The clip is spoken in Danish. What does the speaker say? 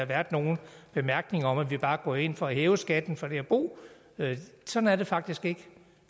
været nogle bemærkninger om at vi bare går ind for at hæve skatten for det at bo sådan er det faktisk ikke